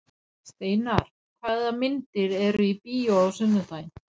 Steinar, hvaða myndir eru í bíó á sunnudaginn?